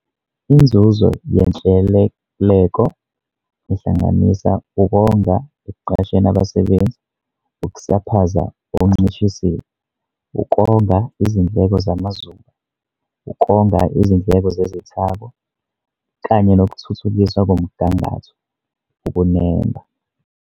Inzuzo yenhleleleko ihlanganisa ukonga ekuqasheni abasebenzi, ukusaphaza okuncishisiwe, ukonga izindleko zamazuba, ukonga izindleko zezithako, kanye nokuthuthukiswa komgangatho, ukunemba.